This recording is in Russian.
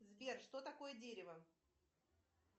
сбер что такое дерево